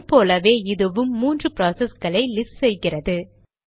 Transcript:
முன் போலவே இதுவும் மூன்று ப்ராசஸ்களை லிஸ்ட் செய்கிறது